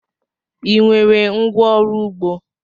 Ị nwere ngwá ọrụ ugbo?